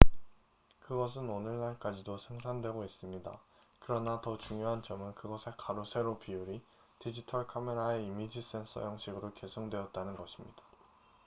그것은 오늘날까지도 생산되고 있습니다 그러나 더 중요한 점은 그것의 가로세로 비율이 디지털카메라의 이미지 센서 형식으로 계승되었다는 것입니다